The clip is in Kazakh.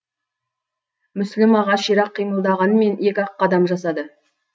мүсілім аға ширақ қимылдағанмен екі ақ қадам жасады